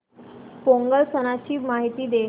पोंगल सणाची माहिती दे